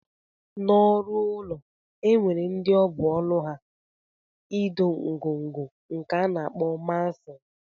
Na ọrụ ụlọ enwere ndi ọbụ ọlụ ha ido ngọngọ nke ana akpọ mason.